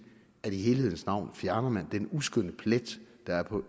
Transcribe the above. at i helhedens navn fjerner man den uskønne plet der er på